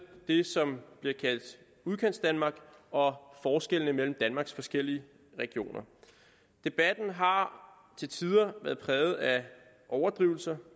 det som bliver kaldt udkantsdanmark og forskellene mellem danmarks forskellige regioner debatten har til tider været præget af overdrivelser